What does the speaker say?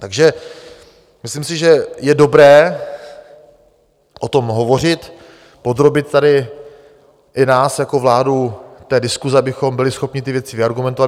Takže myslím si, že je dobré o tom hovořit, podrobit tady i nás jako vládu té diskusi, abychom byli schopni ty věci vyargumentovat.